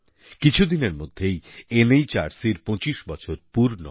কিছুদিনের মধ্যেই NHRCর পঁচিশ বছর পূর্ণ হবে